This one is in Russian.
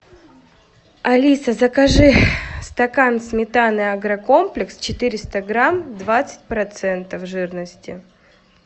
алиса закажи стакан сметаны агрокомплекс четыреста грамм двадцать процентов жирности